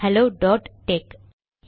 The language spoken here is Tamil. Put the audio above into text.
hello dot tech